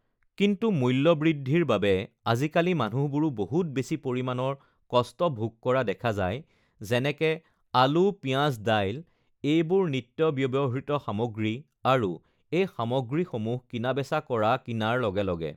কিন্তু মূল্য় বৃদ্ধিৰ বাবে আজিকালি মানুহবোৰে বহুত বেছি পৰিমাণৰ কষ্ট ভোগ কৰা দেখা যায় যেনেকে আলু পিঁয়াজ দাইল এইবোৰ নিত্য় ব্য়ৱহৃত সামগ্ৰী আৰু এই সামগ্ৰীসমূহ কিনা-বেচা কৰা কিনাৰ লগে লগে